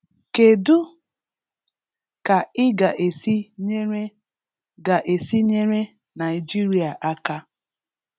Kedụ ka Ị ga-esi nyere ga-esi nyere Naịjirịa aka?